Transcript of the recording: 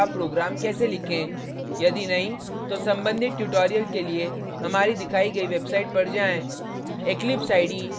यदि नहीं तो संबंधित tutorial के लिए हमारी दिखाई गयी website पर जाएँ